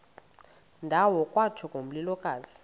ndawo kwatsho ngomlilokazi